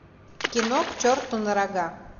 кино к черту на рога